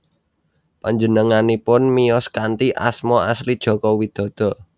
Panjenenganipun miyos kanthi asma asli Joko Widodo